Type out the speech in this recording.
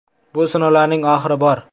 Bu sinovlarning oxiri bor.